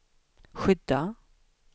skydda